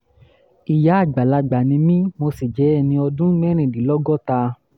ìyá àgbàlagbà ni mí mo sì jẹ́ ẹni ọdún mẹ́rìndínlọ́gọ́ta